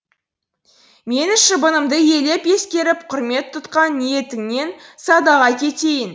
менің шыбынымды елеп ескеріп құрмет тұтқан ниетіңнен садаға кетейін